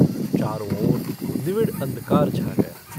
चारों ओर निविड़ अंधकार छा गया।